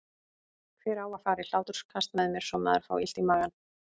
Hver á að fara í hláturskast með mér svo maður fái illt í magann?